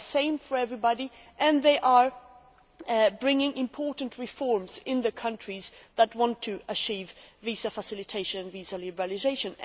They are the same for everybody and they are bringing about important reforms in the countries that want to achieve visa facilitation and visa liberalisation.